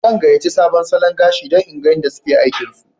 Zan gayace sabon salon gashi dan in gan yada suke aikin su